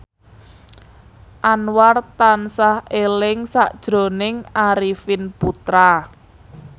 Anwar tansah eling sakjroning Arifin Putra